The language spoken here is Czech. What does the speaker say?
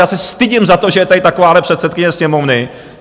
Já se stydím za to, že je tady takováhle předsedkyně Sněmovny.